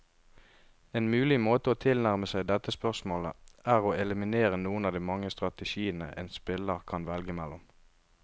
En mulig måte å tilnærme seg dette spørsmålet, er å eliminere noen av de mange strategiene en spiller kan velge mellom.